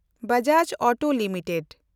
Bajaj auto limited